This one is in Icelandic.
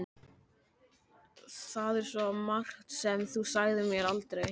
Það er svo margt sem þú sagðir mér aldrei.